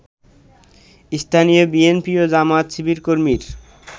স্থানীয় বিএনপি ও জামায়াত-শিবিরকর্মীর